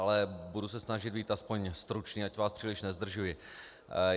Ale budu se snažit být aspoň stručný, ať vás příliš nezdržuji.